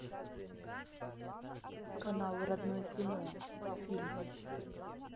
канал родное кино фильм